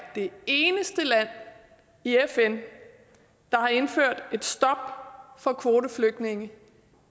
det eneste land i fn der har indført et stop for kvoteflygtninge